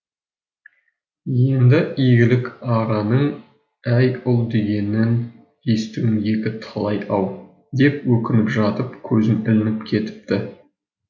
енді игілік ағаның әй ұл дегенін естуім екі талай ау деп өкініп жатып көзім ілініп кетіпті